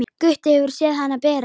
Gutti hefur séð hana bera.